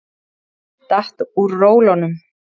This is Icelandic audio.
Datt úr rólunum.